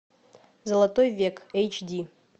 золотой век эйч ди